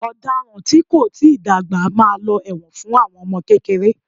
Ọ̀daràn tí kò tíì dàgbà máa lọ ẹ̀wọ̀n fún àwọn ọmọ kékeré